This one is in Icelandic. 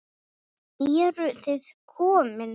Eruð þið komin!